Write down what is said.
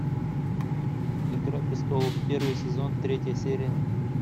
игра престолов первый сезон третья серия